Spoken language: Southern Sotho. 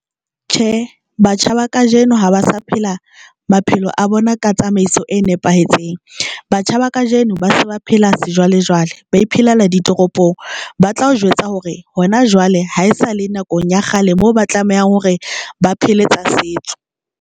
Tjhe, batjha ba kajeno ha ba sa phela maphelo a bona ka tsamaiso e nepahetseng, batjha ba kajeno ba se ba phela sejwalejwale ba iphelela ditoropong, ba tla o jwetsa hore hona jwale ha esale nakong ya kgale moo ba tlamehang hore ba phele tsa setso.